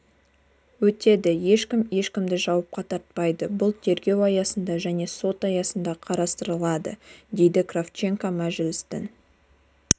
өтеді ешкім ешкімді жауапқа тартпайды бұл тергеу аясында және сот аясында қарастырылады деді кравченко мәжілістің